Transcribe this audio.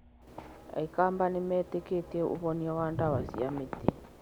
Aikamba nĩ metĩkĩtie ũhonia wa ndawa cia mĩtĩ.